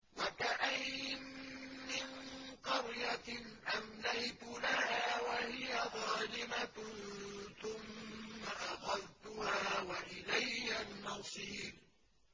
وَكَأَيِّن مِّن قَرْيَةٍ أَمْلَيْتُ لَهَا وَهِيَ ظَالِمَةٌ ثُمَّ أَخَذْتُهَا وَإِلَيَّ الْمَصِيرُ